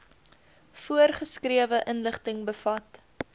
voorgeskrewe inligting bevat